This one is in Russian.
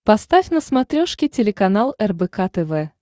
поставь на смотрешке телеканал рбк тв